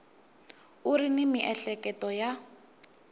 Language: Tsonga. u ri ni miehleketo ya